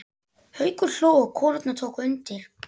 Haukur hló og konurnar tóku undir.